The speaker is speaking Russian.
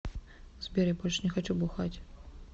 сбер я больше не хочу бухать